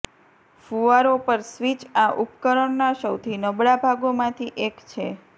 ફુવારો પર સ્વિચ આ ઉપકરણના સૌથી નબળા ભાગોમાંથી એક છે